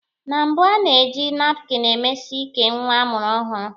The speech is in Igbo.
Na mbụ, a na-eji napkin emesi ike nwa a mụrụ ọhụrụ.